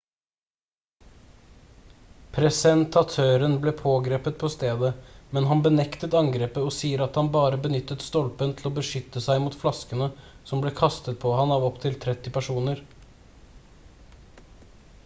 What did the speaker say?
presentatøren ble pågrepet på stedet men han benektet angrepet og sier at han bare benyttet stolpen til å beskytte seg mot flaskene som ble kastet på ham av opptil 30 personer